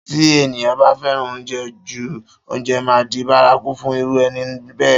Tí èèyàn bá fẹ́ràn oúnjẹ jú, oúnjẹ máa di bárakú fún irú ẹni bẹ́ẹ̀